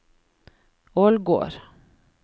Ålgård